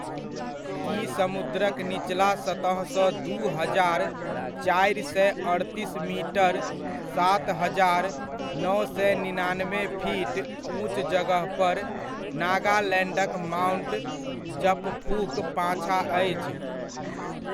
ई समुद्रक निचला सतहसँ दू हजार, चारि सए अड़तीस मीटर, सात हजार, नओ सए निनानबे फीट उँच जगहपर, नागालैण्डक माउण्ट जपफूक पाछाँ अछि।